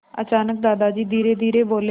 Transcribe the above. अचानक दादाजी धीरेधीरे बोले